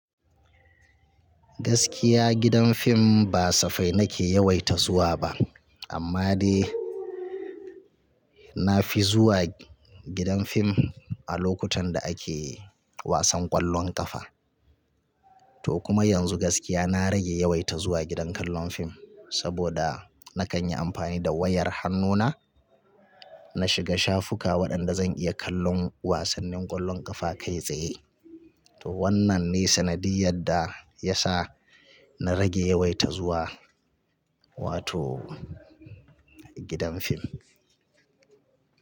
Gaskiya gidan fim ba safai nake yawaita zuwa ba. Amma dai na fi zuwa gidan fim a lokutan da ake wasan ƙwallon ƙafa. To kuma yanzu gaskiya na rage yawaita zuwa gidan kallon fim saboda na kan yi amfani da wayar hannuna na shiga shafuka waɗanda zan iya kallon wasannin ƙwallon ƙafa kai tsaye. To wannan ne sanadiyyar da ya sa na rage yawaita zuwa wato gidan fim.